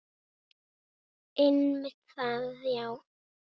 Einmitt það já.